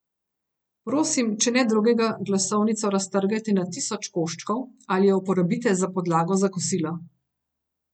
Prosim, če ne drugega, glasovnico raztrgajte na tisoč koščkov ali jo uporabite za podlago za kosilo.